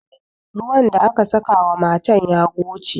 Ruwan da aka saka wa matan ya goce.